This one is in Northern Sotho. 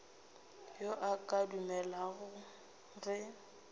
yo a ka dumelago ge